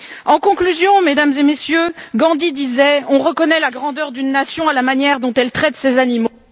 En conclusion, Mesdames et Messieurs, Gandhi disait On reconnaît la grandeur d'une nation à la manière dont elle traite ses animaux.